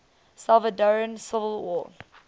salvadoran civil war